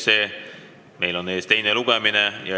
Meil seisab ees teine lugemine.